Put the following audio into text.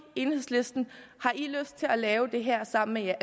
enhedslisten har i lyst til at lave det her sammen